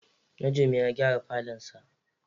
Najume ya k'awata falonsa.